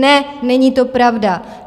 Ne, není to pravda.